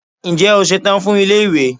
Ǹjẹ́ o ṣetán fún ilé ìwé?